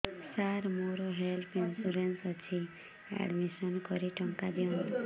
ସାର ମୋର health insurance ଅଛି admission କରି ଟଙ୍କା ଦିଅନ୍ତୁ